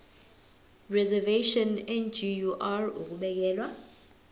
reservation ngur ukubekelwa